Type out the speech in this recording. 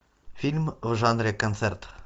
фильм в жанре концерт